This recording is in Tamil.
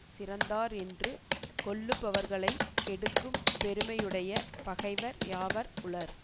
சிறந்தார் என்று கொள்ளுபவர்களைக் கெடுக்கும் பெருமையுடைய பகைவர் யாவர் உளர்